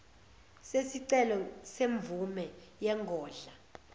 sesicelo semvume yengodla